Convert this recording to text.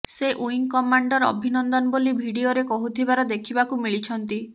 ସେ wing commander Abhinandan ବୋଲି ଭିଡିଓରେ କହୁଥିବାର ଦେଖିବାକୁ ମିଳିଛନ୍ତି